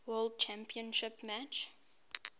world championship match